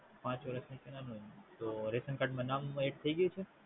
પાંચ વર્ષ નીચેના નુ તો રેશન કાડૃ મા નામ Ad થઈ ગય છે